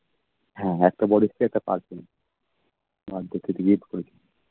হ্যাঁ, একটা body spray একটা perfume একবছর gift করেছিল